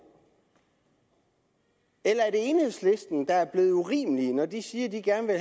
eller er det enhedslisten der er blevet urimelige når de siger at de gerne